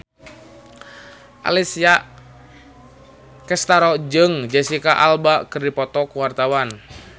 Alessia Cestaro jeung Jesicca Alba keur dipoto ku wartawan